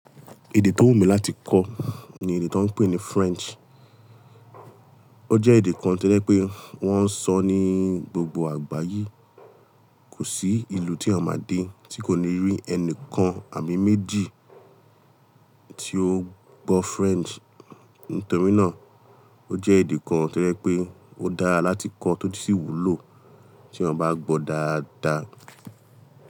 Èdè tó wù mí láti kọ́ ni èdè tó ń pè ní French. O jẹ́ èdè kan tí lẹ́ pé wọ́n ń sọ ní gbogbo àgbáyé. Kò sí ìlú tí à ń máa dé tí kò ní rí ẹnìkan àmì méjì tí ó gbọ́ French. Nítorí náà o jẹ́ èdè kan tí lẹ́ pé ó dára láti kọ́ tó sì wúlò tí ọ bá gbọ́ dáadáa.